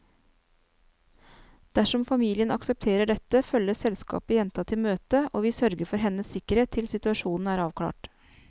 Dersom familien aksepterer dette, følger selskapet jenta til møtet, og vi sørger for hennes sikkerhet til situasjonen er avklart.